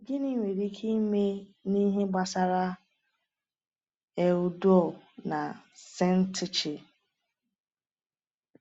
Gịnị nwere ike ime n’ihe gbasara Euodia na Syntyche?